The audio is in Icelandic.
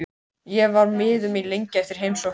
Ég var miður mín lengi eftir heimsóknina.